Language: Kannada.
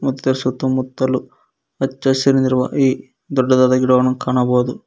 ಮತ್ ಇದರ ಸುತ್ತಮುತ್ತಲು ಹಚ್ಚಹಸಿರಿನಿಂದ ಈ ದೊಡ್ಡದಾದ ಗಿಡಗಳನ್ನು ಕಾಣಬಹುದು.